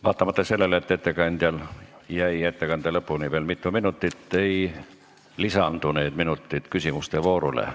Vaatamata sellele, et ettekandjal jäi ettekande lõpuni veel mitu minutit, ei lisandu need minutid küsimuste voorule.